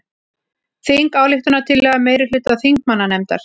Þingsályktunartillaga meirihluta þingmannanefndar